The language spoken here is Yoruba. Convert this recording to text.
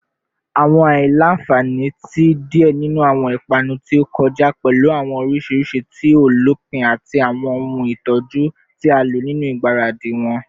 Awọn aila-nfani ti diẹ ninu awọn ipanu ti o kọja pẹlu awọn orisirisi ti o lopin ati awọn ohun itọju ti a lo ninu igbaradi wọn